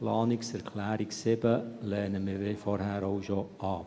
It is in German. Die Planungserklärung 7 lehnen wir, wie bereits vorhin, ab.